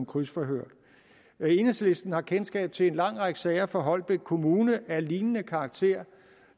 krydsforhør enhedslisten har kendskab til en lang række sager fra holbæk kommune af lignende karakter